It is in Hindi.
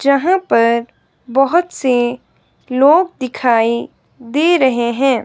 जहां पर बहोत से लोग दिखाएं दे रहे हैं।